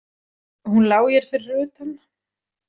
Hún lá hér fyrir utan.